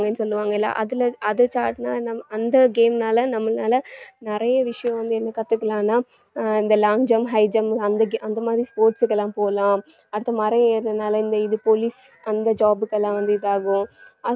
சொல்லுவாங்கல்ல அதுல அது அந்த game னால நம்மளால நிறைய விஷயம் வந்து என்ன கத்துக்கலாம்னா ஆஹ் இந்த long jump, high jump அந்த ga~ அந்த மாதிரி sports க்கு எல்லாம் போலாம் அடுத்து மரம் ஏறுறதுனால இந்த இது police அந்த job க்கு எல்லாம் வந்து இது ஆகும்